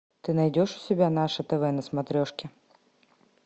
ты найдешь у себя наше тв на смотрешке